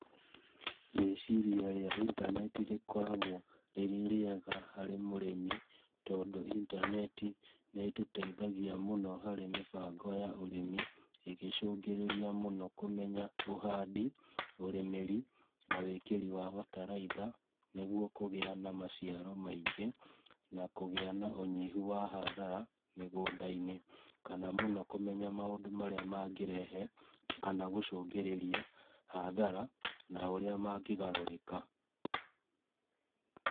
Rĩciria rĩa intaneti rĩkoragwo rĩrĩ rĩega harĩ mũrĩmi tondũ intaneti nĩtũteithagia mũno harĩ mĩbango ya ũrĩmi ĩgĩcũngĩrĩria mũno kũmenya ũhandi, ũrĩmĩri na wĩkĩri wa bataraitha nĩguo kũgĩa na maciaro maingĩ na kũgĩa na ũnyihũ wa hathara mĩgũnda-inĩ, kana mũno kũmenya maũndũ marĩa mangĩrehe kana gũcũngĩrĩria hathara na ũrĩa mangĩgarũrĩka